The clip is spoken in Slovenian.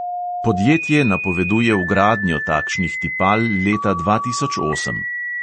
Podjetje napoveduje vgradnjo takšnih tipal leta dva tisoč osem.